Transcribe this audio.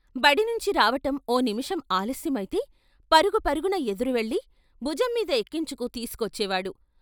బడి నుంచి రావటం ఓ నిముషం ఆలస్యమైతే పరుగు పరుగున ఎదురు వెళ్ళి భుజం మీద ఎక్కించుకు తీసు కొచ్చేవాడు.